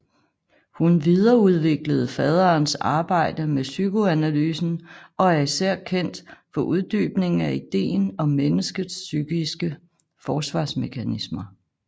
Hun videreudviklede faderens arbejde med psykoanalysen og er især kendt for uddybningen af ideen om menneskets psykiske forsvarsmekanismer